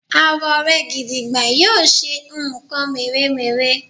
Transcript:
àwọ rẹ gìdìgbà yíò ṣe nkan mere-mere